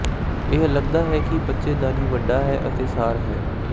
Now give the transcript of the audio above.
ਇਹ ਲੱਗਦਾ ਹੈ ਕਿ ਬੱਚੇਦਾਨੀ ਵੱਡਾ ਹੈ ਅਤੇ ਸਾੜ ਹੈ